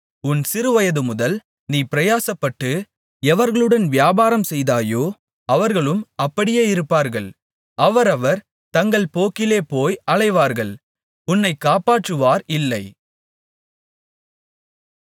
உன் சிறுவயதுமுதல் நீ பிரயாசப்பட்டு எவர்களுடன் வியாபாரம்செய்தாயோ அவர்களும் அப்படியே இருப்பார்கள் அவரவர் தங்கள் போக்கிலே போய் அலைவார்கள் உன்னை காப்பாற்றுவார் இல்லை